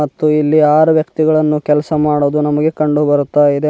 ಮತ್ತು ಇಲ್ಲಿ ಆರು ವ್ಯಕ್ತಿಗಳನ್ನು ಕೆಲಸ ಮಾಡೋದು ನಮಗೆ ಕಂಡು ಬರುತ್ತಾಯಿದೆ ಮ.